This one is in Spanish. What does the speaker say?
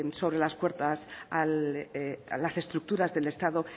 sobre las cuerdas las estructuras del estado